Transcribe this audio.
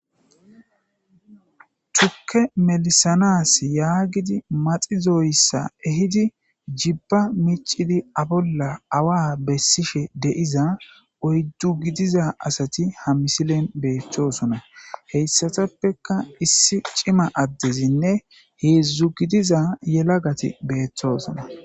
Tuuke mellisanas yaagidi maxxidoyssa mellisanas jiiban miccidi a bolla awa bessishe deizza oyddu giidiza asati ha missileppe bettossona hessatappeka issi cimma addezinne heezhzhu giddiza Yellagati bettosona.